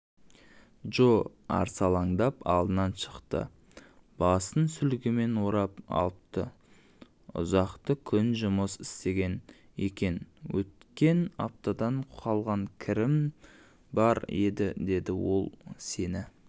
джо арсалаңдап алдынан шықты басын сүлгімен орап алыпты ұзақты күн жұмыс істеген екенөткен аптадан қалған кірім бар еді деді ол сені